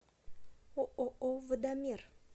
ооо водомер